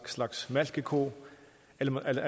slags malkeko eller